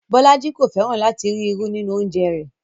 Bọlájí kò fẹ́ràn lati rí irù nínu ọ̀unjẹ̀ rẹ.